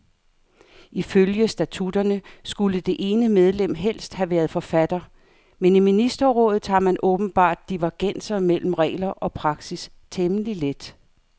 Ifølge statutterne skulle det ene medlem helst have været forfatter, men i ministerrådet tager man åbenbart divergenser mellem regler og praksis temmelig let.